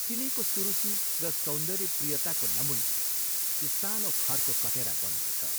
तिनैको सुरुचि र सौन्दर्यप्रियताको नमूना यो सानो खरको कटेरा बनेको छ।